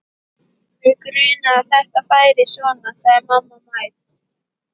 Mig grunaði að þetta færi svona sagði mamma mædd.